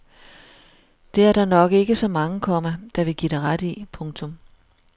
Det er der nok ikke så mange, komma der vil give dig ret i. punktum